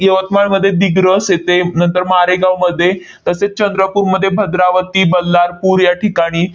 यवतमाळमध्ये दिग्रस येथे, नंतर मारेगावमध्ये तसेच चंद्रपूरमध्ये भद्रावती, बल्लारपूर याठिकाणी